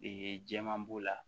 Ee jɛman b'o la